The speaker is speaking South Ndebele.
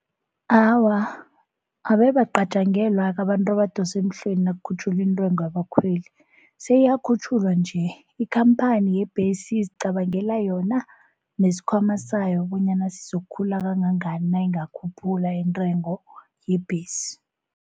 Awa, abe abacatjangelwa-ke abantu abadosa emhlweni nakukhutjhulwa intengo yabakhweli, seyiyakhutjhulwa nje. Ikhamphani yebhesi izicabangela yona nesikhwama sayo, bonyana sizokukhula kangangani nayingakhuphula intengo yebhesi.